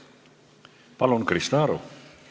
Palun, Krista Aru!